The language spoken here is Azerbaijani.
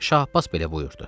Şah Abbas belə buyurdu.